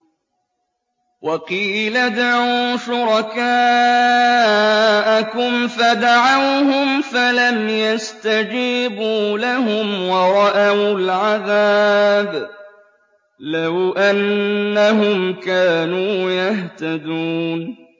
وَقِيلَ ادْعُوا شُرَكَاءَكُمْ فَدَعَوْهُمْ فَلَمْ يَسْتَجِيبُوا لَهُمْ وَرَأَوُا الْعَذَابَ ۚ لَوْ أَنَّهُمْ كَانُوا يَهْتَدُونَ